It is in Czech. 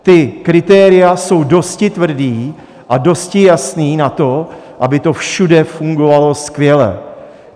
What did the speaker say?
Ta kritéria jsou dosti tvrdá a dosti jasná na to, aby to všude fungovalo skvěle.